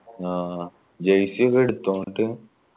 ആ jersey ഒക്കെ എടുത്തോ എന്നിട്ട്